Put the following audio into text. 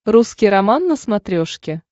русский роман на смотрешке